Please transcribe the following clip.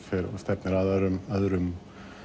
stefnir að öðrum öðrum